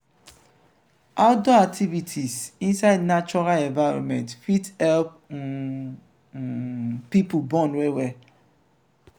ourdoor activities inside natural environment fit help um um pipo bond well well